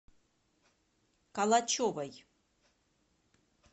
калачевой